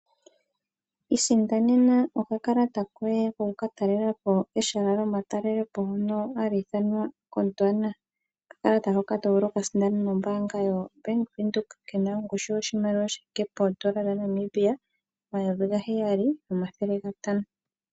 Isindanena okakalata koye ko ku ka talelapo eshala lyomatalelepo hono ha li ithanwa Godwana. Okakalata hoka tovulu okuka sindana nombaanga yo Bank Windhoek ke na ongushu yoshimaliwa shi thike pooN$7500.00 .